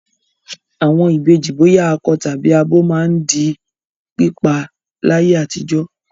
Àwọn ìbejì bóyá akọ tàbí abo máa ń di pípa láyé àtijọ́.